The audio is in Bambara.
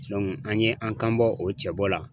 an ye an kan bɔ o cɛbɔ la.